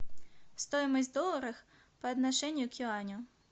стоимость доллара по отношению к юаню